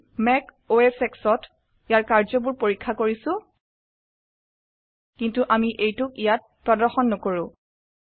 আমি Mac OS X ত ইয়াৰ কাৰ্য বোৰ পৰীক্ষা কৰিছো কিন্তু আমি এইটোক ইয়াত প্ৰদৰ্শন নকৰো